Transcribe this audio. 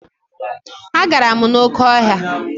Agara m n'oké ọhịa.